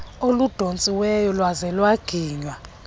oludontsiweyo lwaze lwaginywa